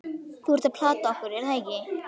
Þú ert að plata okkur, er það ekki?